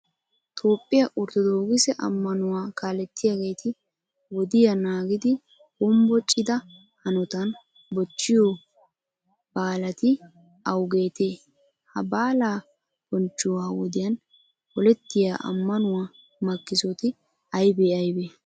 Toophphiya orttodookise ammanuwa kaalliyageeti wodiya naagidi hombbocida hanotan bochchiyo baalati awugeetee? Ha baalaa bonchchuwa wodiyan polettiya ammanuwa makkisoti aybee aybee?